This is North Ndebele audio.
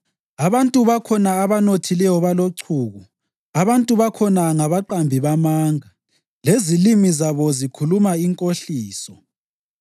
Abantu bakhona abanothileyo balochuku; abantu bakhona ngabaqambi bamanga, lezilimi zabo zikhuluma inkohliso.